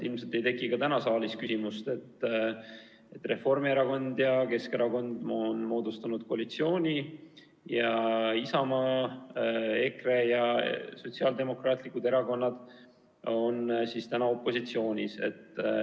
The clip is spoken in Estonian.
Ilmselt ei teki ka täna saalis küsimust, et Reformierakond ja Keskerakond on moodustanud koalitsiooni ning Isamaa, EKRE ja Sotsiaaldemokraatlik Erakond on opositsioonis.